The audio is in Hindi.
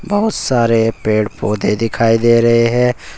बहुत सारे पेड़ पौधे दिखाई दे रहे हैं।